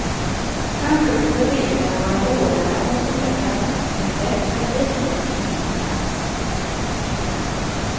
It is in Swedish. Kanske kunde reglerna vara hårdare än vad som nu väntas, men bättre med lite än ingenting alls.